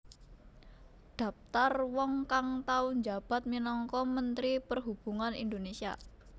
Dhaptar wong kang tau njabat minangka Menteri Perhubungan Indonesia